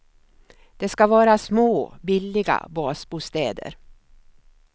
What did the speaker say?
Det ska vara små billiga basbostäder.